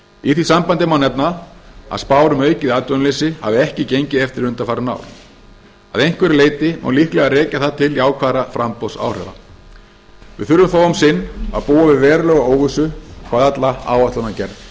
í því sambandi má nefna að spár um aukið atvinnuleysi hafa ekki gengið eftir undanfarin ár að einhverju leyti má líklega rekja það til jákvæðra framboðsáhrifa við þurfum þó um sinn að búa við verulega óvissu hvað alla áætlanagerð